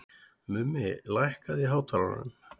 Mummi, lækkaðu í hátalaranum.